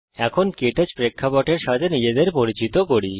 এখন ক্টাচ প্রেক্ষাপটের সাথে নিজেদের পরিচিত করি